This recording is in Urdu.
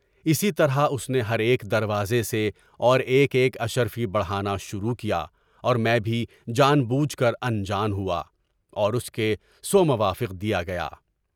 اسی طرح اس نے ہر ایک دروازے سے اور ایک ایک عشر فی بڑھانا شروع کیا اور میں بھی جان بوجھ کر انجان ہوا، اور اس کے سوا موافق دیا گیا۔